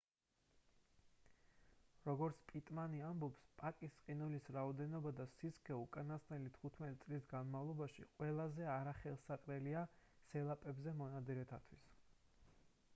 როგორც პიტმანი ამბობს პაკის ყინულის რაოდენობა და სისქე უკანასკნელი 15 წლის განმავლობაში ყველაზე არახელსაყრელია სელაპებზე მონადირეებისთვის